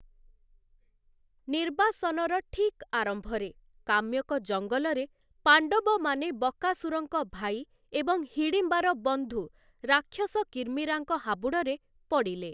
ନିର୍ବାସନର ଠିକ୍ ଆରମ୍ଭରେ, କାମ୍ୟକ ଜଙ୍ଗଲରେ, ପାଣ୍ଡବମାନେ ବକାସୁରଙ୍କ ଭାଇ ଏବଂ ହିଡ଼ିମ୍ବାର ବନ୍ଧୁ ରାକ୍ଷସ କିର୍ମୀରାଙ୍କ ହାବୁଡ଼ରେ ପଡ଼ିଲେ ।